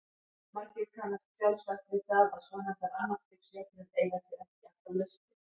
Margir kannast sjálfsagt við það að svonefndar annars stigs jöfnur eiga sér ekki alltaf lausnir.